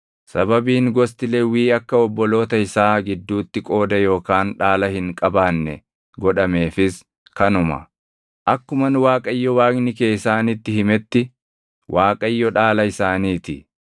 Sababiin gosti Lewwii akka obboloota isaa gidduutti qooda yookaan dhaala hin qabaanne godhameefis kanuma. Akkuman Waaqayyo Waaqni kee isaanitti himetti, Waaqayyo dhaala isaanii ti.